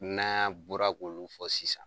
N'an bɔra k'olu fɔ sisan.